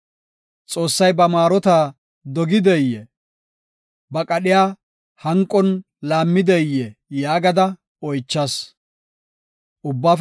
Xoossay ba maarota dogideyee? Ba qadhiya hanqon laammideyee?” yaagada oychas. Salaha